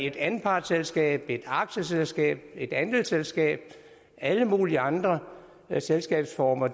et anpartsselskab et aktieselskab et andelsselskab og alle mulige andre selskabsformer